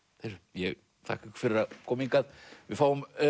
ég þakka ykkur fyrir að koma hingað við fáum